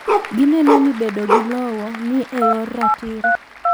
Gineno ni bedo gi lowo ni eyor ratiro.